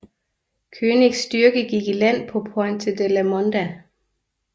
Koenigs styrke gik i land på Pointe La Mondah